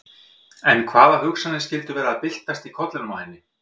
En hvaða hugsanir skyldu vera að byltast í kollinum á henni?